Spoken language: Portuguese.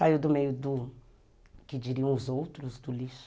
Saiu do meio do, que diriam os outros, do lixo.